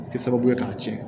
A bɛ kɛ sababu ye k'a tiɲɛ